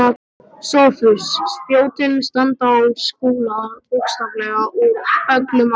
SOPHUS: Spjótin standa á Skúla bókstaflega úr öllum áttum.